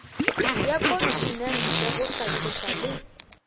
ya kontinente go hlatloša le